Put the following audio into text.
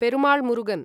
Perumal Murugan